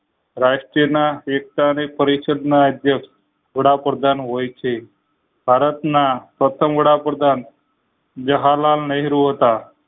રાષ્ટ્રના વ્યવસાયિક પરિસ્થિ ના આધ્યક્ષ વડાપ્રધાન હોય છે ભારત ના પ્રથમ વડાપ્રધાન જવાહરલાલ નહેરુ હતા.